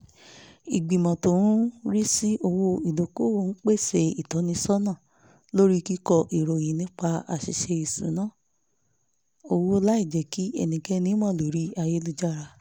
ìgbìmọ̀ tó ń rí sí òwò ìdókòwò ń pèsè ìtọ́nisọ́nà lórí kíkọ ìròyìn nípa àṣìṣe ìṣúnná owó láìjẹ́ kí ẹnikẹ́ni mọ̀ lórí ayélujára